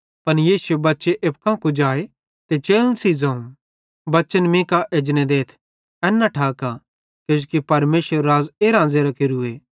पन यीशुए बच्चे एप्पू कां कुजाए ते चेलन सेइं ज़ोवं बच्चन मीं कां एजने देथ एन न ठाका किजोकि परमेशरेरू राज़ एरां ज़ेरां केरूए